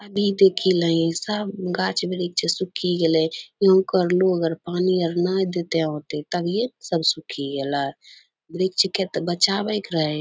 अभी देखी लह ई सब गाछ-वृक्ष छे सूख्खी गेलै यहां कर लोग अर पानी अर नाय देते होते तभीए सब सूख्खी गेलै वृक्ष के त बचाबै क रहै।